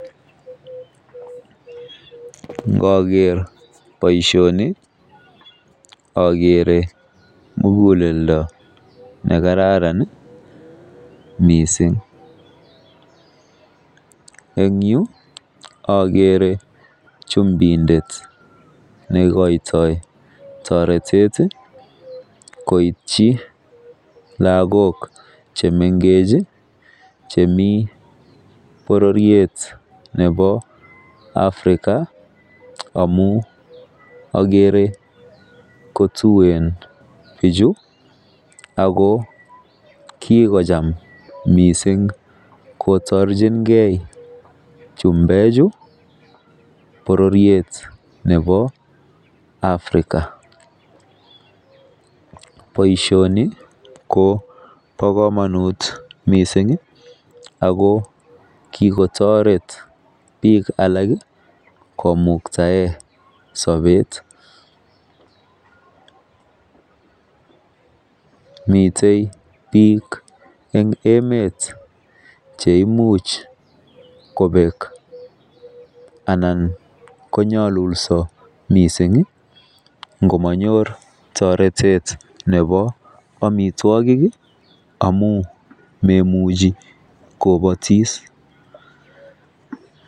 Nkoker boishoni okere muguleldo nekararan nii missing en yuu okere chumindet neikoito toretet tii koityi lakok chemengech chii chemii bororiet nebo African amun okere kituen bichu ako kokocham missing koborchingee bichu bororiet nebo African. Boishoni ko bo komonut missingi ako kikotoret bik alak komuktaen sobet, mite bik en emet cheimuch kobek anan konyolulso missingi ngomonyor toretet nebo omitwokik kii amun moimuchi kobotishet.